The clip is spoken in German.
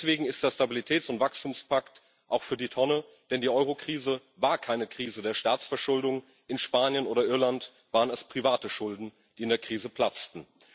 Deswegen ist der Stabilitäts und Wachstumspakt auch für die Tonne, denn die Eurokrise war keine Krise der Staatsverschuldung in Spanien oder Irland waren es private Schulden, die in der Krise platzten.